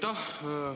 Aitäh!